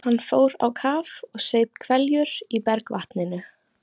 Hann fór á kaf og saup hveljur í bergvatninu.